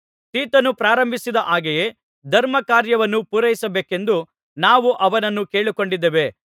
ತೀತನು ಪ್ರಾರಂಭಿಸಿದ ಹಾಗೆಯೇ ಧರ್ಮಕಾರ್ಯವನ್ನು ಪೂರೈಸಬೇಕೆಂದು ನಾವು ಅವನನ್ನು ಕೇಳಿಕೊಂಡಿದ್ದೇವೆ